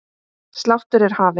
Sláttur er hafinn.